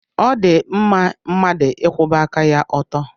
Ọ dị mma mmadụ ịkwụba aka ya ọtọ.